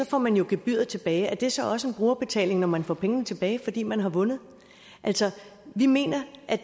får man jo gebyret tilbage er det så også en brugerbetaling når man får pengene tilbage fordi man har vundet altså vi mener